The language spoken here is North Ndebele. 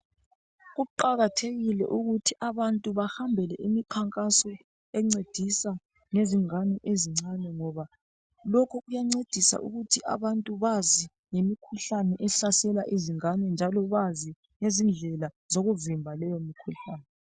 Kuqakathekile ukuthi abantu bahambele imikhankaso encedisa ngezingane ezincane ngoba lokhu kuyancedisa ukuthi abantu bazi ngemikhuhlane ehlasela izingane njalo bazi ngezindlela zokuvimba leyomkhuhlane.